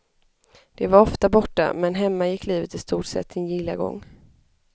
De var ofta borta, men hemma gick livet i stort sett sin gilla gång.